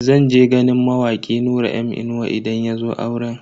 Zan je ganin mawaki Nura M Inuwa idan yazo auren.